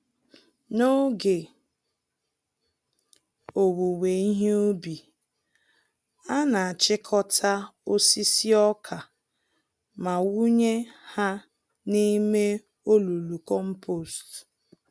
N'oge owuwe ihe ubi, anachịkọta osisi ọkà ma wụnye ha n'ime olulu kompost